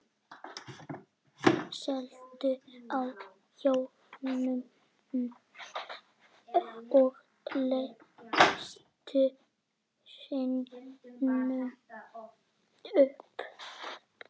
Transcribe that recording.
Reyndu nú að sofna.